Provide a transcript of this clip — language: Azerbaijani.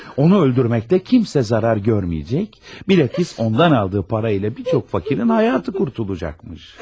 Onu öldürməklə kimsə zarar görməyəcək, bilakis ondan aldığı para ilə bir çox fakirin həyatı qurtulacaqmış.